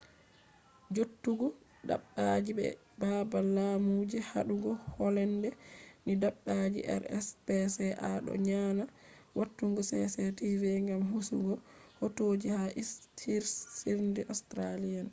jooftuki dabbaji be e babal laamu je hadugo hallende ni dabbaji rspca doo nyonaa watugo cctv gam hosugo hotoji ha hirsirde australian